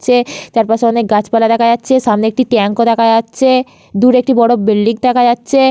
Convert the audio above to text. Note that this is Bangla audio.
চারপাশে অনেক গাছপালা দেখা যাচ্ছে সামনে একটি ট্যাঙ্ক ও দেখা যাচ্ছে দূরে একটি বড় বিল্ডিং দেখা যাচ্ছে।